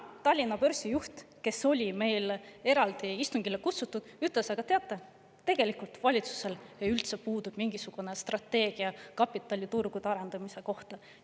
Tallinna Börsi juht, kes oli meil täna eraldi istungile kutsutud, ütles: "Aga teate, tegelikult valitsusel üldse puudub mingisugune strateegia kapitaliturgude arendamise kohta.